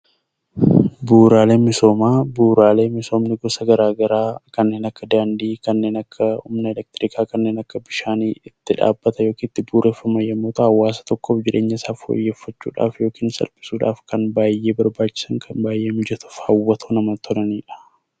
Bu'uuraaleen misoomaa bu'uuraalee misoomni garaagaraa kanneen akka daandii, kanneen akka humna elektiriikaa, kanneen akka bishaanii yommuu ta'an, hawaasa tokkoof jireenya isaa fooyyeffachuuf yookiin salphisuudhaaf baay'ee kan barbaachisan baay'ee mijatoo fi hawwatoo kan ta'anidha.